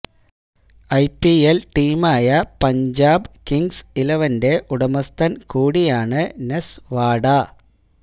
IPL ടീമായ Punjab kings ഇലവന്റെ ഉടമസ്ഥന് കൂടിയാണ് നെസ് വാഡ